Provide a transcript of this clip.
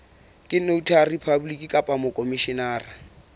ke notary public kapa mokhomishenara